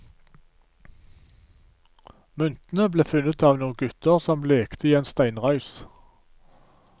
Myntene ble funnet av noen gutter som lekte i en steinrøys.